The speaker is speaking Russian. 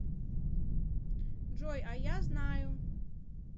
джой а я знаю